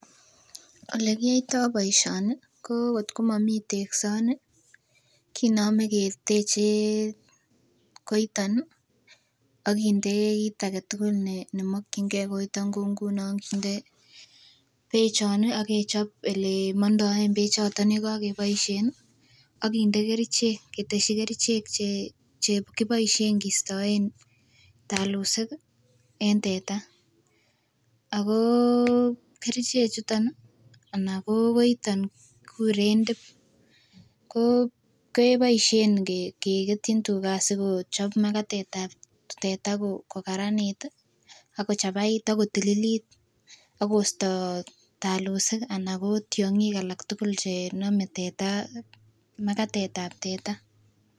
Olekiyoitoo boisioni ko ngot ko momii teksoni kinome keteche koiton ih akinde kit aketugul nemokyini gee koiton ih kou ngunon kinde bechon ih ak kinde elemondoen bechoton yekokeboisien ih ak kinde kerichek ketesyi kerichek chekiboisien kistoen talusik ih en teta ako kerichek chuton ih anan kokoiton kikuren tip ko keboisien keketyin tuga asikochob makatet ab teta kokaranit ih akochabait akotililit akosto talusik anan ko tiong'ik alak tugul chenome teta makatet ab teta.